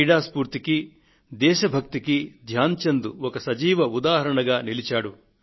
క్రీడా స్ఫూర్తికీ దేశ భక్తికీ ధ్యాన్ చంద్ ఒక సజీవ ఉదాహరణగా నిలిచారు